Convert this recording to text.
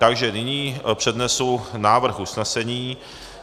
Takže nyní přednesu návrh usnesení.